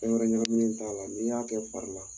Fɛn wɛrɛ ɲagamilen t'a la , n'i y'a kɛ fari la